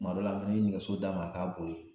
Kuma dɔ la an mi nɛgɛso d'a ma a k'a boli